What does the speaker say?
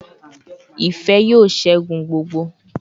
Ife yoo segun gbogbo